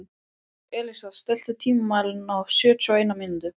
Elísa, stilltu tímamælinn á sjötíu og eina mínútur.